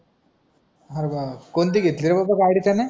हो का कोणती घेतली रे बाबा गाडी त्याने